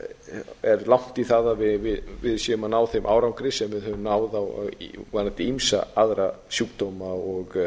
enn er langt í það að við séum að ná þeim árangri sem við höfum náð varðandi ýmsa aðra sjúkdóma og